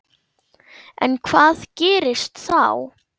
En hvað gerist þá?